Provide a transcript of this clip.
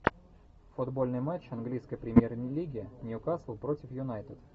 футбольный матч английской премьер лиги ньюкасл против юнайтед